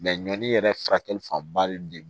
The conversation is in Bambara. ɲɔni yɛrɛ furakɛli fanba de